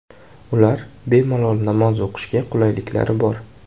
Ular bemalol namoz o‘qishiga qulayliklar bor.